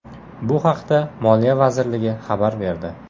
Bu haqda Moliya vazirligi xabar berdi .